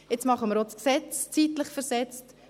Nun machen wir auch das Gesetz zeitlich versetzt;